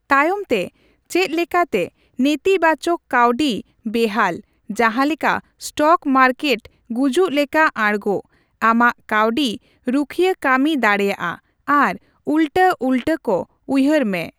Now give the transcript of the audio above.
ᱛᱟᱭᱚᱢᱛᱮ, ᱪᱮᱫ ᱞᱮᱠᱟᱛᱮ ᱱᱮᱛᱤᱵᱟᱪᱚᱠ ᱠᱟᱹᱣᱰᱤ ᱵᱮᱦᱟᱞ, ᱡᱟᱸᱦᱟ ᱞᱮᱠᱟ ᱮᱥᱴᱚᱠ ᱢᱟᱨᱠᱮᱴᱨᱮ ᱜᱩᱡᱩᱜ ᱞᱮᱠᱟ ᱟᱲᱜᱚ ᱾ ᱟᱢᱟᱜ ᱠᱟᱹᱣᱰᱤ ᱨᱩᱠᱷᱟᱹᱭᱟᱹ ᱠᱟᱹᱢᱤ ᱫᱟᱲᱮᱭᱟᱼᱟ ᱟᱨ ᱩᱞᱴᱟᱹ ᱩᱞᱴᱟᱹ ᱠᱚ ᱩᱭᱦᱟᱹᱨ ᱢᱮ ᱾